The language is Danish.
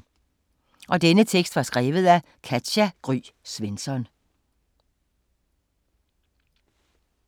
Af Katja Gry Svensson